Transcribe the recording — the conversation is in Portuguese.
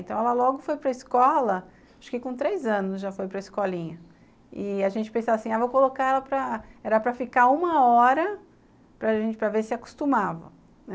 Então, ela logo foi para a escola, acho que com três anos já foi para a escolinha, e a gente pensava assim, vou colocar ela para... Era para ficar uma hora para ver se acostumava.